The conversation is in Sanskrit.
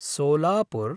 सोलापुर्